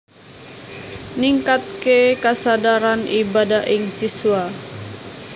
Ningkatké kasadaran ibadah ing siswa